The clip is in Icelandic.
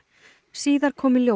síðar kom í ljós